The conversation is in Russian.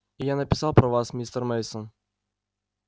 и я написал про вас мистер мейсон